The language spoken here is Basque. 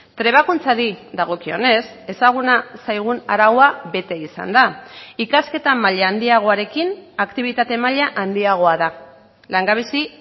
trebakuntzari dagokionez ezaguna zaigun araua bete izan da ikasketa maila handiagoarekin aktibitate maila handiagoa da langabezi